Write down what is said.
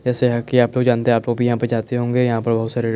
ऐसा हैं की आप लोग जानते आप लोग भी यहाँ पे जाते होंगे यहाँ पर बहुत सारे--